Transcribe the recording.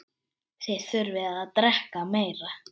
Þið þurfið að drekka meira.